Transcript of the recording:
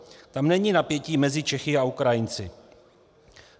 Tam není napětí mezi Čechy a Ukrajinci."